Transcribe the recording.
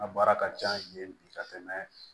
N ka baara ka ca yen bi ka tɛmɛ